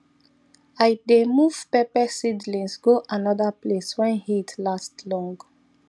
i dey move pepper seedlings go another place when heat last long